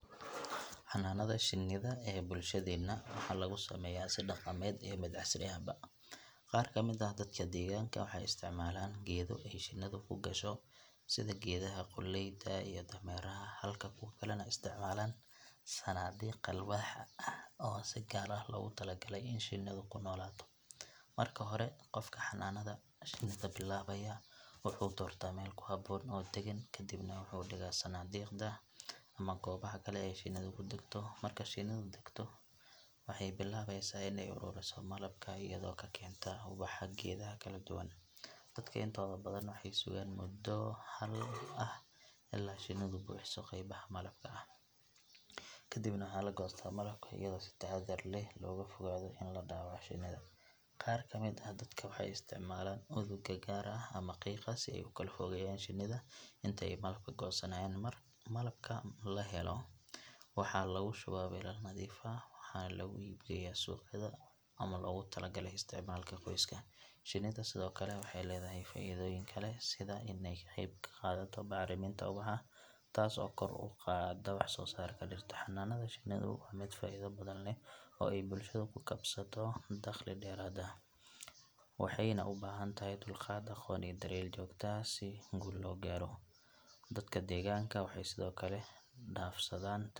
Xanaanada shinnida ee bulshadeenna waxaa lagu sameeyaa si dhaqameed iyo mid casri ahba. Qaar ka mid ah dadka deegaanka waxay isticmaalaan geedo ay shinnidu ku gasho sida geedaha qoolleyda iyo dameeraha halka kuwo kalena isticmaalaan sanaadiiq alwaax ah oo si gaar ah loogu talagalay in shinnidu ku noolaato. Marka hore qofka xanaanada shinnida bilaabaya wuxuu doortaa meel ku habboon oo degan, ka dibna wuxuu dhigaa sanaadiiqda ama goobaha kale ee shinnidu ku degto. Marka shinnidu degto waxay bilaabeysaa in ay ururiso malabka iyadoo ka keenta ubaxa geedaha kala duwan. Dadka intooda badan waxay sugaan mudo ah ilaa shinnidu buuxiso qaybaha malabka ah, ka dibna waxaa la goostaa malabka iyadoo si taxaddar leh looga fogaado in la dhaawaco shinnida. Qaar ka mid ah dadka waxay isticmaalaan udugga gaar ah ama qiiqa si ay u kala fogeeyaan shinnida inta ay malabka goosanayaan. Malabka la helo waxaa lagu shubaa weelal nadiif ah, waxaana lagu iib geeyaa suuqyada ama loogu tala galay isticmaalka qoyska. Shinnida sidoo kale waxay leedahay faa’iidooyin kale sida in ay ka qayb qaadato bacriminta ubaxa taas oo kor u qaadda wax soo saarka dhirta. Xanaanada shinnidu waa mid faa’iido badan leh oo ay bulshada ku kasbato dakhli dheeraad ah, waxayna u baahan tahay dulqaad, aqoon iyo daryeel joogto ah si guul looga gaaro. Dadka deegaanka waxay sidoo kale is dhaafsadaan .